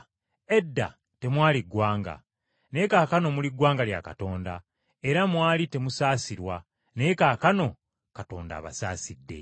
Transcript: Edda temwali ggwanga, naye kaakano muli ggwanga lya Katonda, era mwali temusaasirwa, naye kaakano Katonda abasaasidde.